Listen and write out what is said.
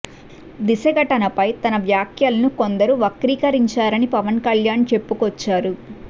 దిశ ఘటనపై తన వ్యాఖ్యలను కొందరు వక్రీకరించారని పవన్ కళ్యాణ్ చెప్పుకొచ్చారు